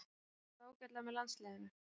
Spilar samt alltaf ágætlega með landsliðinu.